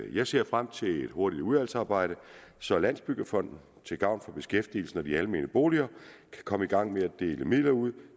jeg ser frem til et hurtigt udvalgsarbejde så landsbyggefonden til gavn for beskæftigelsen og de almene boliger kan komme i gang med at dele midler ud